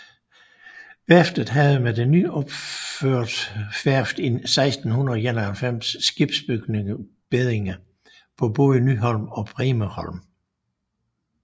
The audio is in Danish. Værftet havde med det nyopførte værft i 1691 skibsbygningsbeddinger både på Nyholm og Bremerholm